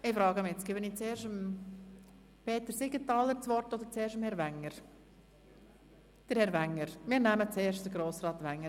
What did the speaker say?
Ich frage nun, ob ich zuerst Grossrat Siegenthaler das Wort geben soll oder dem Kommissionspräsidenten.